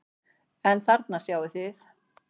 En þarna sjáið þið!